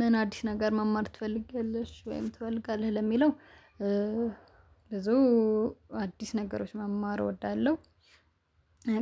ምን አዲስ ነገር መማር ትፈልጊያለሽ ወይም ትፈልጋለህ ለሚለው ብዙ አዲስ ነገሮች መማር እወዳለሁ።